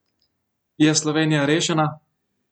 Je Slovenija rešena?